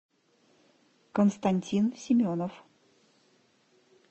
константин семенов